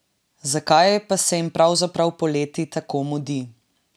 Zakaj pa se jim pravzaprav poleti tako mudi?